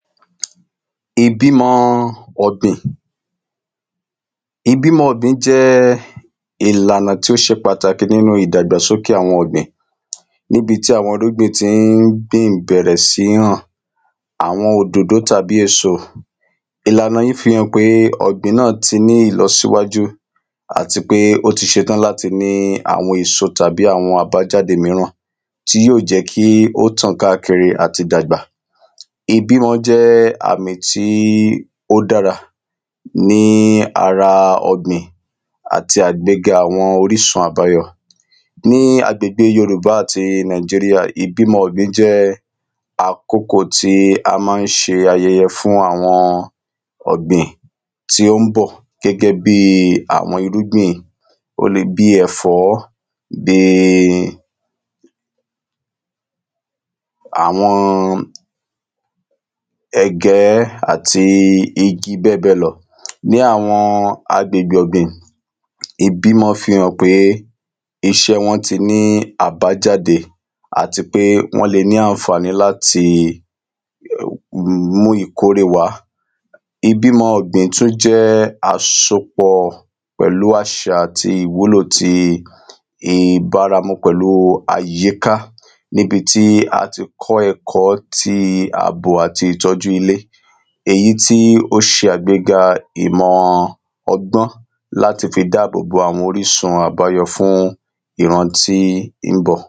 Ìbímọ ọ̀gbìn Ìbímọ ọ̀gbìn jẹ́ ìlànà tí ó ṣe pàtàkì nínú ìdàgbàsókè àwọn ọ̀gbìn Níbi tí àwọn irúgbìn ti n àwọn òdòdó tàbí èso Ìlànà yìí fi hàn pé ọ̀gbìn náà ti ní ìlọsíwájú àti pé ó ti ṣetán láti ní àwọn èso tàbí àwọn àbájáde míràn tí yóò jẹ́ kí ó tàn káàkiri àti dàgbà Ìbímọ jẹ́ àmì tí ó dára ní ara ọ̀gbìn Àti àgbéga àwọn orísun àbáyọ Ní agbègbè yorùbá àti Nigeria ìbímọ ọ̀gbìn jẹ́ àkókò tí a ma ń ṣe ayẹyẹ fún àwọn ọ̀gbìn tí ó ń bọ̀ gẹ́gẹ́ bíi àwọn irúgbìn Ó lè bi ẹ̀fọ́ um àwọn ẹ̀gẹ́ àti igi bẹ́ẹ̀bẹ́ẹ̀ lọ àwọn agbègbè ọ̀gbìn ìbímọ fi hàn pé iṣẹ́ wọn ti ní àbájáde Àti pé wọ́n lè ní àǹfàní láti mú ìkórè wá Ìbímọ ọ̀gbìn tún jẹ́ àsopọ̀ pẹ̀lú àṣà àti ìwúlò ti ìbáramu pẹ̀lú àyíká Níbi tí a ti kọ́ ẹ̀kọ́ ti àbò àti ìtọ́jú ilé Èyí tí ó ṣe àgbéga ìmọ̀ ọgbọ́n láti fi dá àbò bo àwọn orísun àbáyọ fún ìran tí ń bọ̀